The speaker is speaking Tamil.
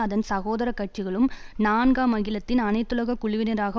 அதன் சகோதர கட்சிகளும் நான்காம் அகிலத்தின் அனைத்துலக குழுவினராக